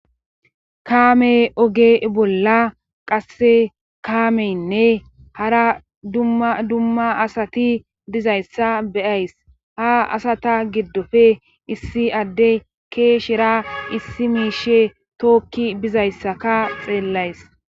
kaame oge bolla qasse kaameynne hara ddumma asati dizayssa beyays ha asata giddofe issi adde keeshera issi miishe tookki bizayssaka xeellays